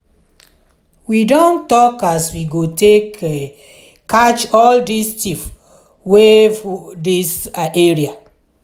we don tok as we go take catch all di tiff wey full dis area.